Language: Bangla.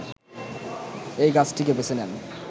এই গাছটিকে বেছে নেন